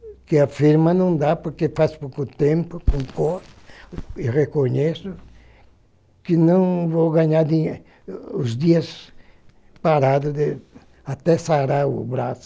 Porque a firma não dá, porque faz pouco tempo, concordo e reconheço que não vou ganhar os dias parados, até sarar o braço.